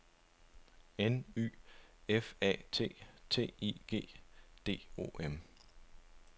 N Y F A T T I G D O M